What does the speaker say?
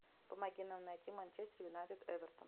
помоги нам найти манчестер юнайтед эвертон